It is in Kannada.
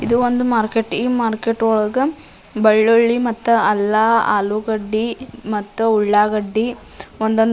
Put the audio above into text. ಇದು ಒಂದು ಮಾರ್ಕೆಟ್ ಈ ಮಾರ್ಕೆಟ್ ಒಳಗ ಬೆಳ್ಳುಳ್ಳಿ ಮತ್ತ ಅಲ್ಲ ಆಲೂಗಡ್ಡೆ ಮತ್ತು ಉಳ್ಳಾಗಡ್ಡೆ ಒಂದೊಂದ್ --